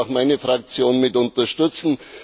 das wird auch meine Fraktion mit unterstützen.